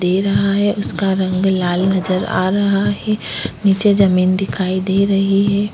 दे रहा है उसका रंग लाल नजर आ रहा है नीचे जमीन दिखाई दे रही है।